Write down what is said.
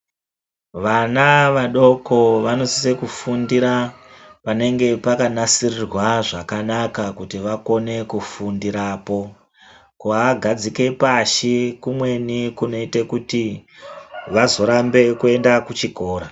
Vana vadoko vanosisa kufundira panenge pakanasirwa zvakanaka kuti vakone kufundirapo kuvagatsike pashi kumweni kunoite kuti vazorambe kuenda kuchikora.